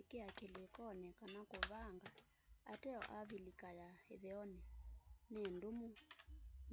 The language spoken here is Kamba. ikia kilikoni kana kuvanga ateo avilika ya itheoni ni ndumu